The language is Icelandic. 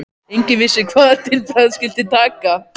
Enginn vissi hvað til bragðs skyldi taka.